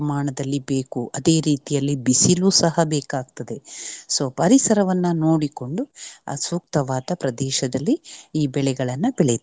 ಬೇಕು ಅದೇ ರೀತಿಯಲ್ಲಿ ಬಿಸಿಲೂ ಸಹ ಬೇಕಾಗ್ತದೆ. so ಪರಿಸರವನ್ನ ನೋಡಿಕೊಂಡು ಸೂಕ್ತವಾದ ಪ್ರದೇಶದಲ್ಲಿ ಈ ಬೆಳೆಗಳನ್ನ ಬೆಳೆಯುತ್ತಾರೆ.